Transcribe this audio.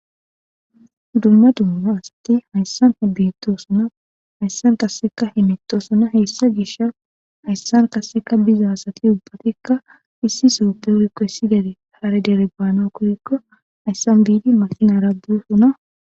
dumma dumma asatti hayssan hibbito suna hayssan kasseka himito suna heessa gisha hayssan kasseka biza sati ubbatikka issi sooppe urikkossidede harderebaano korikko hayssan biidi masina raadusuna